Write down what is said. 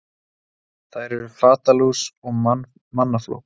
þær eru fatalús og mannafló